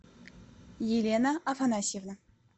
елена афанасьевна